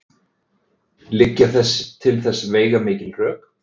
Liggja til þess veigamikil rök.